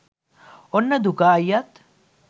ඔන්න දුකා අයියත්